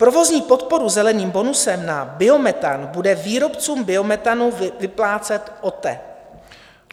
Provozní podporu zeleným bonusem na biometan bude výrobcům biometanu vyplácet OTE.